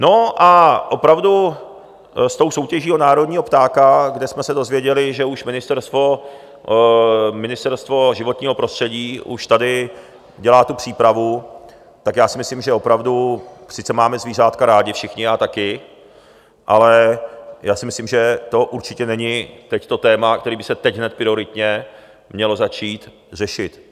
No a opravdu s tou soutěží o národního ptáka, kde jsme se dozvěděli, že už Ministerstvo životního prostředí už tady dělá tu přípravu, tak já si myslím, že opravdu sice máme zvířátka rádi všichni, já taky, ale já si myslím, že to určitě není teď to téma, který by se teď hned prioritně mělo začít řešit.